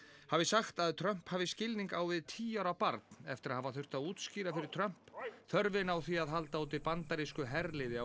hafi sagt að Trump hafi skilning á við tíu ára barn eftir að hafa þurft að útskýra fyrir Trump þörfina á því að halda úti bandarísku herliði á